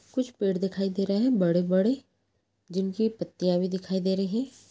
कुछ पेड़ दिखाई दे रहे है बड़े- बड़े जिनकी पत्तियां भी दिखाई दे रही हैं।